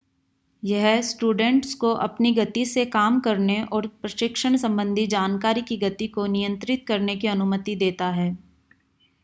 यह स्टूडेंट्स को अपनी गति से काम करने और प्रशिक्षण संबंधी जानकारी की गति को नियंत्रित करने की अनुमति देता है